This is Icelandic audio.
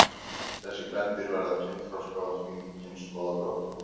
þessi kvendýr verða kynþroska og því ný kynslóð af drottningum